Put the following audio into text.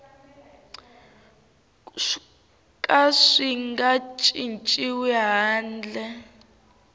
ka swi nga cinciwi handle